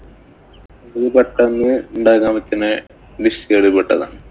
ഇത് പെട്ടന്ന് ഉണ്ടാക്കാന്‍ പറ്റുന്ന dish കളില്‍ പെട്ടതാണ്.